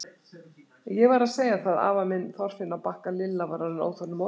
Ég var að segja það, afa minn, Þorfinn á Bakka Lilla var orðin óþolinmóð.